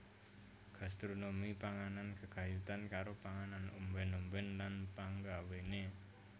Gastronomi panganan gegayutan karo panganan ombèn ombèn lan panggawéné